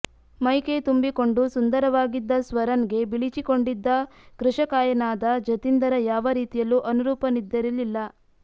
ಮೈ ಕೈ ತುಂಬಿಕೊಂಡು ಸುಂದರವಾಗಿದ್ದ ಸ್ವರನ್ ಗೆ ಬಿಳಿಚಿಕೊಂಡಿದ್ದ ಕೃಶಕಾಯನಾದ ಜತಿಂದರ್ ಯಾವ ರೀತಿಯಲ್ಲೂ ಅನುರೂಪನಿದ್ದಿರಲಿಲ್ಲ